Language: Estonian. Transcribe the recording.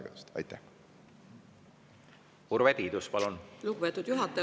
Lugupeetud juhataja!